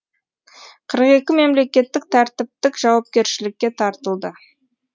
қырық екі мемлекеттік тәртіптік жауапкершілікке тартылды